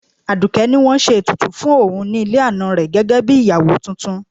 Aduke ní wọ́n ṣe ètùtù fún òun ní ilé ana rẹ̀ gẹ́gẹ́ bí ìyàwó tuntun.